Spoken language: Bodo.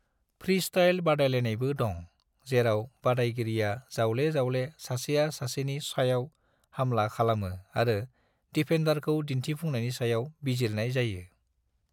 फ्रीस्टाइल बादायलायनायबो दं, जेराव बादायगिरिआ जावले-जावले सासेआ सासेनि सायाव हामला खालामो आरो दिफेन्दारखौ दिन्थिफुंनायनि सायाव बिजिरनाय जायो।